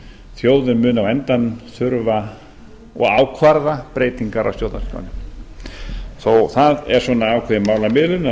þjóðin mun á endanum þurfa og ákvarða breytingar á stjórnarskránni það er svona ákveðin málamiðlun að